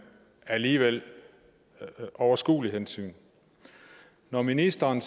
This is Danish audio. alligevel overskuelige hensyn når ministeren